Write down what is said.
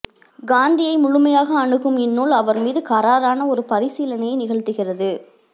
காந்தியை முழுமையாக அணுகும் இந்நூல் அவர் மீது கறாரான ஒரு பரிசீலனையை நிகழ்த்துகிறது